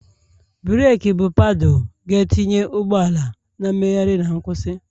breeki bụ paddle ga-etinye ụgbọ ala na mmegharị na nkwụsị